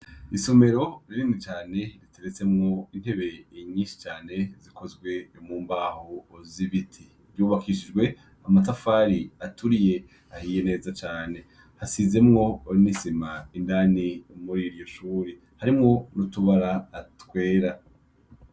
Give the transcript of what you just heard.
Isomero rinini cane riteretsemwo intebe inyishi cane, zikozwe mu mbaho z'ibiti. Ryubakishijwe amatafari aturiye ahiye neza cane. Hasizemwo n'isima indani muri iryo shuri; harimwo n'utubara twera.